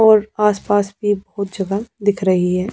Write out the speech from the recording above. और आसपास भी बहुत जगह दिख रही है।